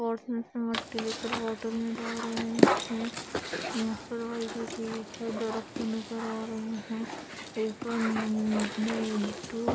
समझ के लेकर बॉटल मे डाल रहे हैं नजर आ रहे हैं ऊपर --